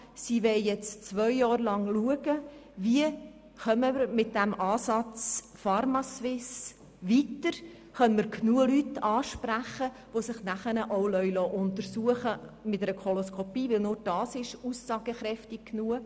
Sie will jetzt zwei Jahre lang schauen, wie wir mit dem Ansatz pharmaSuisse weiterkommen und ob wir damit genügend Leute ansprechen, die sich nachher auch mit einer Koloskopie untersuchen lassen, denn nur dies ist aussagekräftig genug.